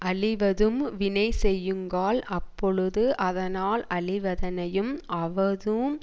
அழிவதூஉம் வினைசெய்யுங்கால் அப்பொழுது அதனால் அழிவதனையும் ஆவதூஉம்